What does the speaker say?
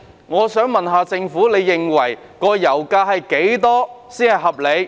我想問，政府認為油價是多少才合理？